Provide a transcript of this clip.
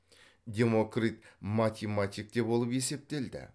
демокрит математик те болып есептелді